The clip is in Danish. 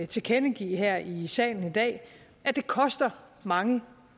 tilkendegive her i salen i dag at det koster mange